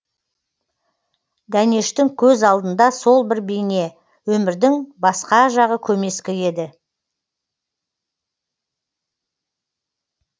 дәнештің көз алдында сол бір бейне өмірдің басқа жағы көмескі еді